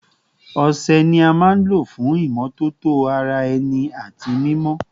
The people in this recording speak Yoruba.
Ọṣẹ ni a maa n lo fun imọtoto ara ẹni ati mimọ